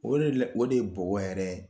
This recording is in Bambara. O de la o de ye bɔgɔ yɛrɛ yɛrɛ ye